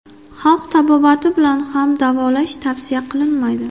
Xalq tabobati bilan ham davolash tavsiya qilinmaydi.